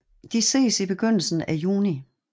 De ses i begyndelsen af juni